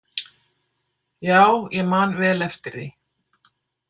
Já, ég man vel eftir því.